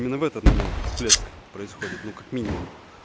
именно в этот момент всплеск происходит ну как минимум